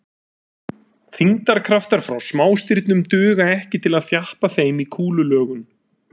Þyngdarkraftar frá smástirnum duga ekki til að þjappa þeim í kúlulögun.